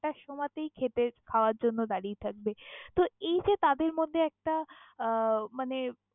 সমাতেই খেতে খাবার জন্য দারিয়ে থাকবে তহ এই যে তাদের মধ্যে একটা আহ মানে।